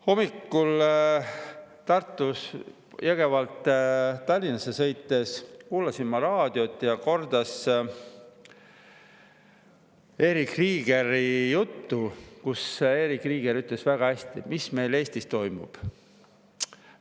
Hommikul Jõgevalt Tallinnasse sõites kuulasin ma raadiot ja korrati Erich Kriegeri juttu, kus Erich Krieger ütles väga hästi, mis meil Eestis toimub.